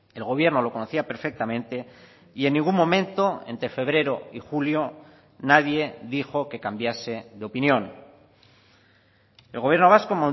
el gobierno lo conocía perfectamente y en ningún momento entre febrero y julio nadie dijo que cambiase de opinión el gobierno vasco